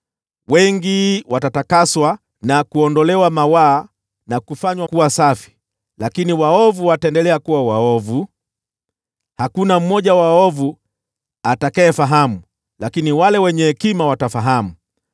Wengi watatakaswa, na kuondolewa mawaa na kufanywa safi, lakini waovu wataendelea kuwa waovu. Hakuna mmoja wa waovu atakayefahamu, lakini wale wenye hekima watafahamu.